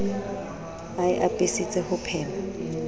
e a apesitse ho phema